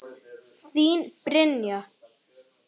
Þín, Brynja.